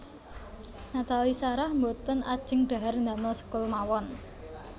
Nathalie Sarah mboten ajeng dhahar ndamel sekul mawon